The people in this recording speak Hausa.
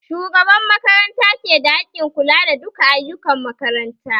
Shugaban makaranta ke da haƙƙin kula da duka ayukan makaranta